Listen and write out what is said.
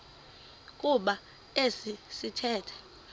kuba esi sithethe